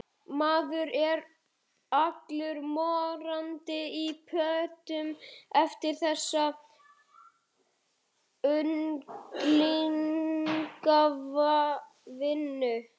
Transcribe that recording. Maður er allur morandi í pöddum eftir þessa unglingavinnu.